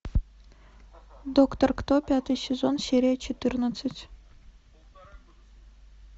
доктор кто пятый сезон серия четырнадцать